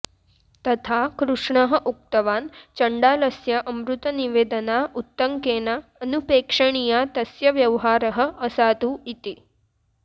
तथा कृष्णः उक्तवान् चण्डालस्य अमृतनिवेदना उत्तङ्केन अनुपेक्षणीया तस्य व्यवहारः असाधु इति